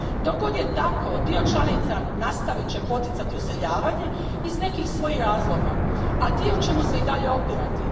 Dok god je tako, dio članica nastavit će poticati useljavanje iz nekih svojih razloga, a dio će mu se i dalje opirati.